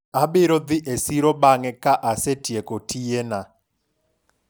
abiro dhi e siro bang'e ka asetieko tiye na